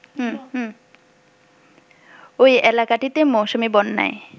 ওই এলাকাটিতে মৌসুমী বন্যায়